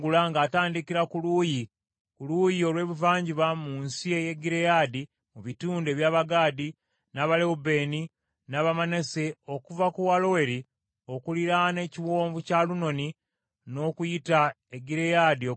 ku luuyi olw’ebuvanjuba mu nsi ey’e Gireyaadi mu bitundu eby’Abagaadi, n’Abalewubeeni, n’Abamanase okuva ku Aloweri okuliraana ekiwonvu kya Alunoni n’okuyita e Gireyaadi okutuuka e Basani.